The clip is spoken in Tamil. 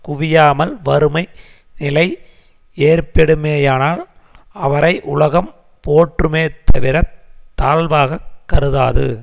குவியாமல் வறுமை நிலை ஏற்பெடுமேயானால் அவரை உலகம் போற்றுமே தவிரத் தாழ்வாகக் கருதாது